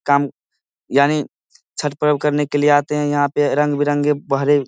काम यानी छठ प्रयोग करने के लिए आते है यहां पे रंग बिरंगे भरे--